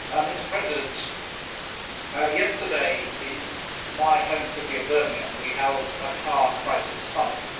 Mr President, yesterday in my home city of Birmingham we held a car crisis summit.